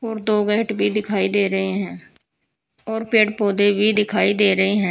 और दो गेट भी दिखाई दे रहे हैं और पेड़ पौधे भी दिखाई दे रहे हैं।